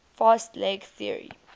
fast leg theory